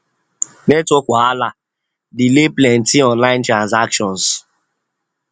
network wahala delay plenty online transactions